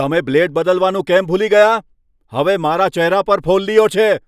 તમે બ્લેડ બદલવાનું કેમ ભૂલી ગયા? હવે મારા ચહેરા પર ફોલ્લીઓ છે!